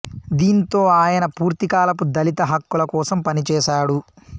దీంతో ఆయన పూర్తి కాలపు దళిత హక్కుల కోసం పనిచేశాడు